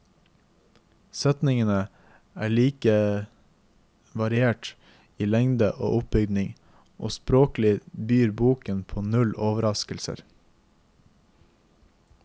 Setningene er lite variert i lengde og oppbygning, og språklig byr boken på null overraskelser.